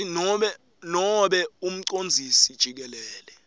nobe umcondzisi jikelele